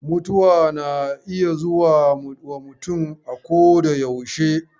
Mutuwa na iya zuwa mutum akoyaushe.